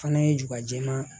Fana ye juga jɛman